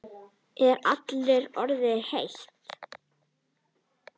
Er allri orðið heitt.